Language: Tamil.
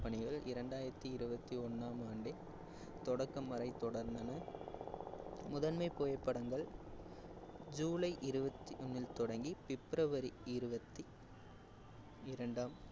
பணிகள் இரண்டாயிரத்தி இருவத்தி ஒண்ணாம் ஆண்டே தொடக்கம் வரை தொடர்ந்தன. முதன்மை புகைப்படங்கள் ஜூலை இருவத்தி இல் தொடங்கி பிப்ரவரி இருவத்தி இரண்டாம்